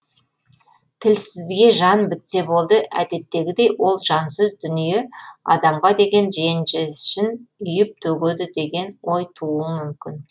тілсізге жан бітсе болды әдеттегідей ол жансыз дүние адамға деген ренжішін үйіп төгеді деген ой тууы мүмкін